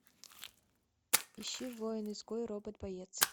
ищи воин изгой робот боец